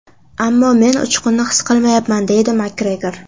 Ammo men uchqunni his qilmayapman”, deydi Makgregor.